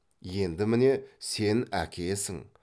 енді міне сен әкесің